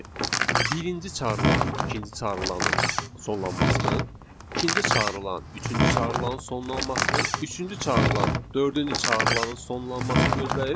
Yəni birinci çağırılan, ikinci çağırılaının sonlanmasını, ikinci çağırılan, üçüncü çağırılaın sonlanmasını, üçüncü çağırılan, dördüncü çağırılaının sonlanmasını gözləyir.